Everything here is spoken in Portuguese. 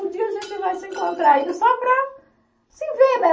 Um dia a gente vai se encontrar ainda só para se ver, né?